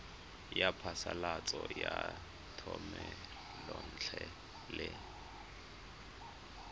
ya phasalatso ya thomelontle le